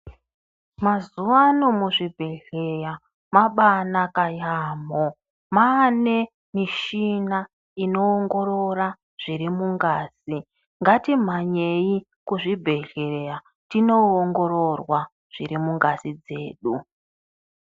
Mazuva ano mu zvibhedhleya mabai naka yamho mane mishina ino ongorora zviri mungazi ngati mhanyei kuzvi bhedhleya tino ongororwa zviri mungazi dzedu.